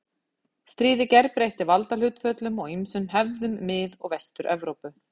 Stríðið gerbreytti valdahlutföllum og ýmsum hefðum Mið- og Vestur-Evrópu.